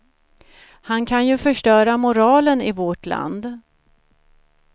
Han kan ju förstöra moralen i vårt land.